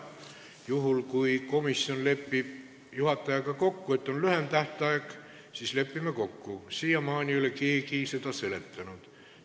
Juhul kui komisjon lepib juhatajaga kokku, et on lühem tähtaeg, siis me lepime nii kokku, aga siiamaani ei ole keegi selle kiirustamise põhjust seletanud.